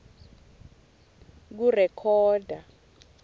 kurekhoda